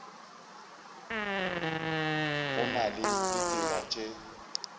go na le ditsela tše